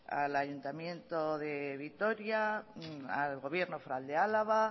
al ayuntamiento de vitoria al gobierno foral de álava